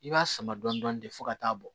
I b'a sama dɔɔnin fɔ ka taa bɔ